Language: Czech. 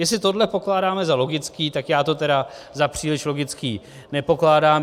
Jestli tohle pokládáme za logické, tak já to tedy za příliš logické nepokládám.